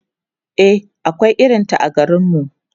e akwai irinta a garinmu